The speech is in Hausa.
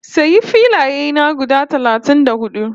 Sayi filaye na guda talatin da hudu